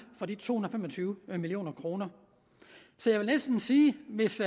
for de to hundrede og fem og tyve million kroner så jeg vil næsten sige at hvis